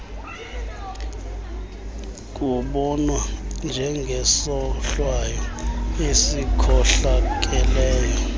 kubonwa njengesohlwayo esikhohlakeleyo